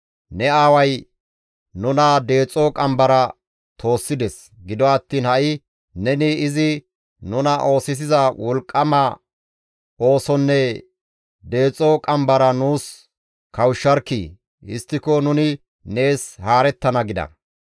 «Ne aaway nuna deexo qambara toossides; gido attiin ha7i neni izi nuna oosisiza wolqqama oosonne deexo qambara nuus kawushsharkkii! Histtiko nuni nees haarettana» gida.